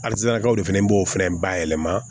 Alisarakaw de fɛnɛ b'o fɛnɛ bayɛlɛma